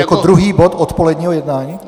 Jako druhý bod odpoledního jednání?